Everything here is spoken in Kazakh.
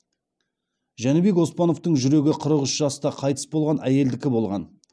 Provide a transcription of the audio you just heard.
жәнібек оспановтың жүрегі қырық үш жаста қайтыс болған әйелдікі болған